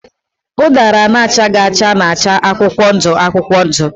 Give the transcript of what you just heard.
Ụdara na-achaghị acha na-acha akwụkwọ ndụ akwụkwọ ndụ.